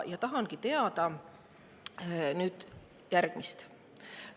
Ja tahangi teada järgmist.